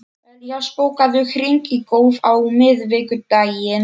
Elías, bókaðu hring í golf á miðvikudaginn.